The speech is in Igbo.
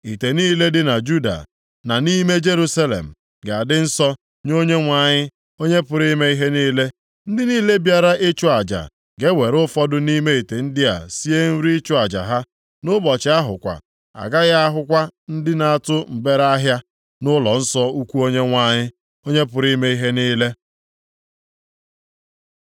Ite niile dị na Juda, na nʼime Jerusalem ga-adị nsọ nye Onyenwe anyị, Onye pụrụ ime ihe niile. Ndị niile bịara ịchụ aja ga-ewere ụfọdụ nʼime ite ndị a sie nri ịchụ aja ha. Nʼụbọchị ahụ kwa, a gaghị ahụ kwa ndị na-atụ mgbereahịa + 14:21 Maọbụ, Onye Kenan nʼụlọnsọ ukwu Onyenwe anyị, Onye pụrụ ime ihe niile.